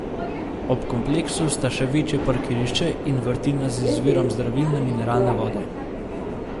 Ob kompleksu sta še večje parkirišče in vrtina z izvirom zdravilne mineralne vode.